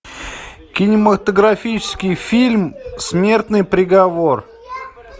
кинематографический фильм смертный приговор